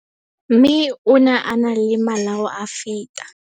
Mme ona a na le malao a feta.